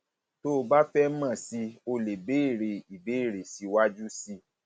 tó o bá fẹ mọ sí i o leè béèrè ìbéèrè síwájú sí i